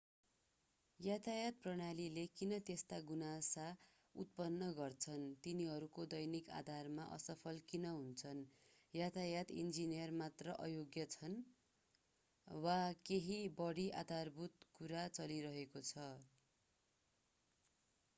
यातायात प्रणालीले किन त्यस्ता गुनासा उत्पन्न गर्छन् तिनीहरू दैनिक आधारमा असफल किन हुन्छन्‌? यातायात इन्जिनियर मात्र अयोग्य छन्? वा केही बढी आधारभूत कुरा चलिरहेको छ?